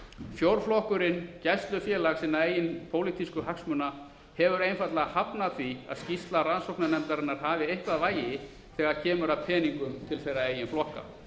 fjórflokkurinn gæslufélag sinna eigin pólitísku hagsmuna hefur einfaldlega hafnað því að skýrsla rannsóknarnefndarinnar hafi eitthvað vægi þegar kemur að peningunum til þeirra eigin flokka